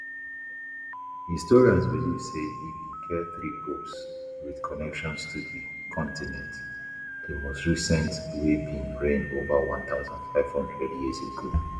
historians believe say e bin get three popes wit connections to di continent di most recent wey bin reign over one thousand, five hundred years ago